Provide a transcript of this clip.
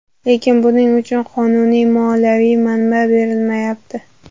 Lekin buning uchun qonuniy moliyaviy manba berilmayapti.